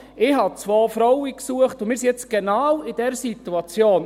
Ich suchte zwei Frauen, und wir sind nun genau in dieser Situation.